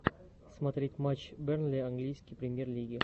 смотреть матч бернли английской премьер лиги